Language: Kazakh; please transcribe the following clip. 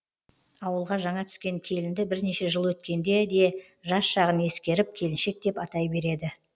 ауылға жаңа түскен келінді бірнеше жыл өткенде де жас жағын ескеріп келіншек деп атай береді